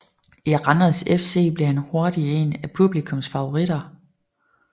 I Randers FC blev han hurtig en af publikums favoriter